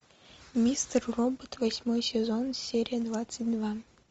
мистер робот восьмой сезон серия двадцать два